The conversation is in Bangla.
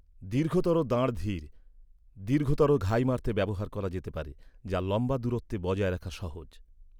দীর্ঘতর দাঁড় ধীর, দীর্ঘতর ঘাই মারতে ব্যবহার করা যেতে পারে, যা লম্বা দূরত্বে বজায় রাখা সহজ।